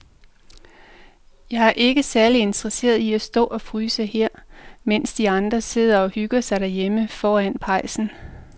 Jeg er ikke særlig interesseret i at stå og fryse her, mens de andre sidder og hygger sig derhjemme foran pejsen.